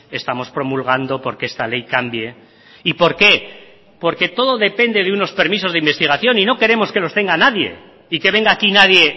estamos promulgando porque esta ley cambie y por qué porque todo depende de unos permisos de investigación y no queremos que los tenga nadie y que venga aquí nadie